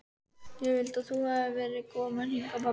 Ég vildi að þú hefðir verið kominn hingað pabbi.